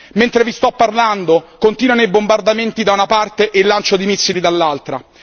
Mentre vi sto parlando continuano i bombardamenti da una parte e il lancio di missili dall'altra.